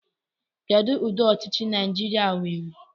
Kedụ ụdị ọchịchị Naịjirịa nwere?